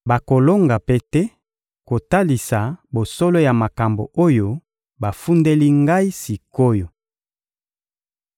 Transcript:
Bakolonga mpe te kotalisa bosolo ya makambo oyo bafundeli ngai sik’oyo.